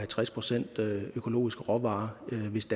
tres procent økologiske råvarer hvis